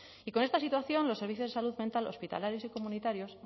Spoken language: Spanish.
y con esta situación los servicios de salud mental hospitalarios y comunitarios